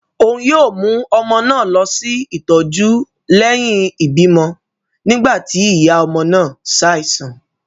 Òún yóò mú ọmọ náà lọ sí ìtọjú lẹhin ibimọ nígbà ti iya ọmọ náà ṣaisan